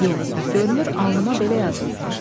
Yox, görünür alnıma belə yazılıbmış.